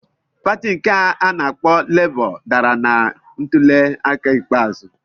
Pati nke a na-akpọ Labour dara na ntuliaka ikpeazụ.